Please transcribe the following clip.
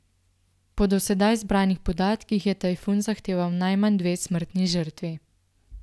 Po do sedaj zbranih podatkih je tajfun zahteval najmanj dve smrtni žrtvi.